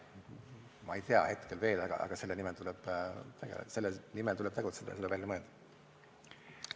Ma ei tea seda hetkel veel, aga selle nimel tuleb tegutseda, see tuleb välja mõelda.